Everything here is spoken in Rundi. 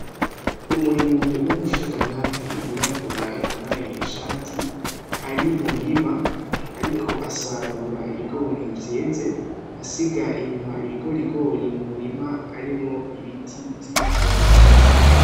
Umurimyi w'umushingantahe yirabura yambaye ishati ari mu murima ariko asarura ibigori vyeze asiga inyuma ibigorigori mu murima harimwo ibiti vy'ibitoke.